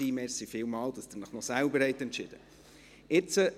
Vielen Dank, dass Sie sich selbst entschieden haben.